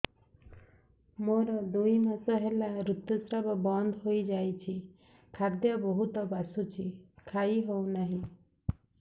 ମୋର ଦୁଇ ମାସ ହେଲା ଋତୁ ସ୍ରାବ ବନ୍ଦ ହେଇଯାଇଛି ଖାଦ୍ୟ ବହୁତ ବାସୁଛି ଖାଇ ହଉ ନାହିଁ